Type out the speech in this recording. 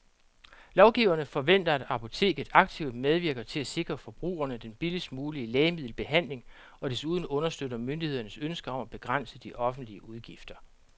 Lovgiverne forventer, at apoteket aktivt medvirker til at sikre forbrugerne den billigst mulige lægemiddelbehandling og desuden understøtter myndighedernes ønske om at begrænse de offentlige udgifter.